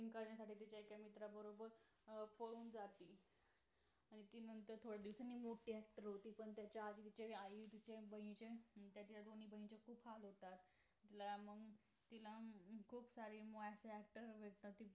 acting करण्यासाठी तिझ्या एका मित्रा बरोबर पळुन जाते आणि ती थोड्या दिवासानंतर मोठी actor होते पण त्यांच्या इकडे आईचे आणि बहिणेचे तुझ्या दोन्ही बहिणीचे खुप हाल होतात अं मग तिला मग खूप सारे actor actress भेटतात